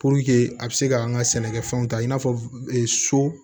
Puruke a bɛ se ka an ka sɛnɛkɛfɛnw ta i n'a fɔ so